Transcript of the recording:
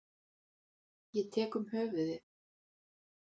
Ég tek um höfuðið.